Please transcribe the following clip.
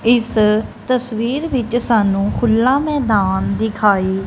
ਇਸ ਤਸਵੀਰ ਵਿੱਚ ਸਾਨੂੰ ਖੁੱਲਾ ਮੈਦਾਨ ਦਿਖਾਈ--